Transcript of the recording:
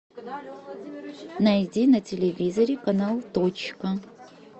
найди на телевизоре канал точка